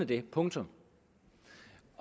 det punktum